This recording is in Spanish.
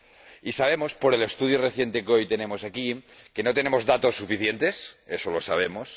Y sabemos, por el estudio reciente que hoy tenemos aquí, que no tenemos datos suficientes —eso lo sabemos—